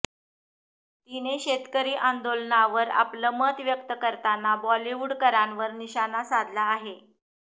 तिने शेतकरी आंदोलनावर आपलं मत व्यक्त करताना बॉलिवूडकरांवर निशाणा साधला आहे